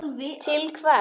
Til hvers?